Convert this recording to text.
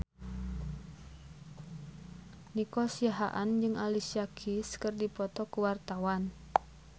Nico Siahaan jeung Alicia Keys keur dipoto ku wartawan